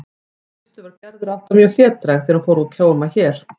Í fyrstu var Gerður alltaf mjög hlédræg þegar hún fór að koma hér.